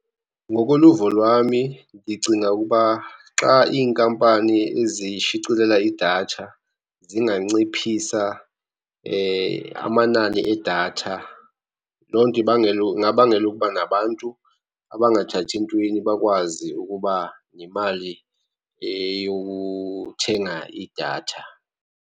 Ngokoluvo lwami ndicinga ukuba xa iinkampani zishicilela idatha, zinganciphisa amanani edatha. Loo nto ibangela ingabangela ukuba nabantu abangathathi ntweni bakwazi ukuba yimali eyothenga idatha.